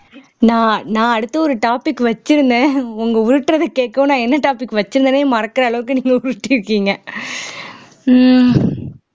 நான் நான் அடுத்து ஒரு topic வச்சிருந்தேன் உங்க உருட்டுறது கேட்கவும் நான் என்ன topic வச்சிருந்தேனே மறக்குற அளவுக்கு நீங்க உருட்டி இருக்கீங்க உம்